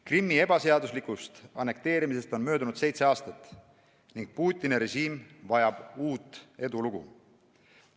Krimmi ebaseaduslikust annekteerimisest on möödunud seitse aastat ning Putini režiim vajab uut edulugu.